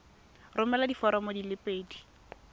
romela diforomo di le pedi